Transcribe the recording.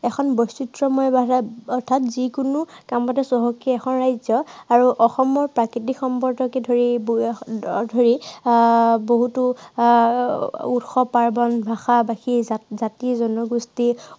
এখন বৈচিত্ৰ্য়ময় ৰাজ্য় অৰ্থাৎ যি কোনো কামতে চহকী এখন ৰাজ্য়। আৰু অসমৰ প্ৰাকৃতিক সম্পদকে ধৰি ধৰি আহ বহুতো আহ উৎসৱ পাৰ্বন ভাষা-ভাষী, জাতি, জাতি-জনগোষ্ঠী